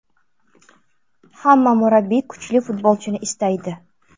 Hamma murabbiy kuchli futbolchini istaydi.